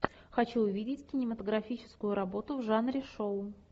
хочу увидеть кинематографическую работу в жанре шоу